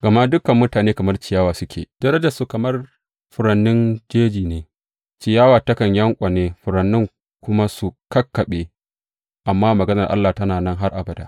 Gama, Dukan mutane kamar ciyawa suke, darajarsu kuma kamar furannin jeji ne; ciyawa takan yanƙwane furannin kuma su kakkaɓe, amma maganar Ubangiji tana nan har abada.